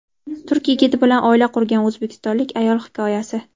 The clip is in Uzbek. Turk yigiti bilan oila qurgan o‘zbekistonlik ayol hikoyasi.